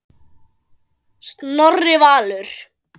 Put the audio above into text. Snorri Valur.